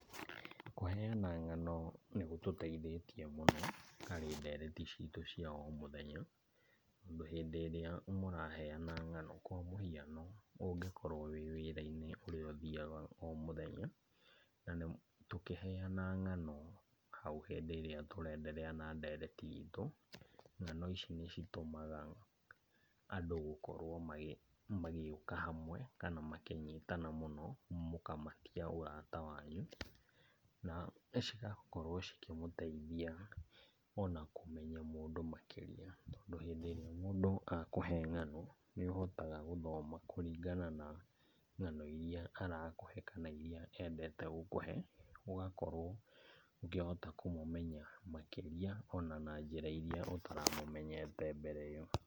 Kũheana ng'ano nĩ gũtũteithĩtie mũno harĩ ndereti citũ cia o mũthenya, tondũ hĩndĩ ĩrĩa mũraheana ng'ano kwa mũhiano ũngĩkorwo wĩ wĩra-inĩ ũrĩa ũthiaga o mũthenya na tũkĩheana ng'ano hau hĩndĩ ĩrĩa tũraenderea na ndereti itũ, ng'ano ici nĩcitũmaga andũ gũkorwo magĩũka hamwe kana makĩnyitana mũno mũkĩmatia ũrata wanyu. Na cigakorwo cikĩmũteithia ona kũmenya mũndũ makĩria tondũ hĩndĩ ĩrĩa mũndũ akũhe ng'ano nĩ ũhotaga gũthoma kũringana na ng'ano iria arakũhe kana kũringana na iria endete gũkũhe, ũgakorwo ũkĩhota kũmũmenya makĩria ona na njĩra iria ũtaramũmenyete mbere ĩyo.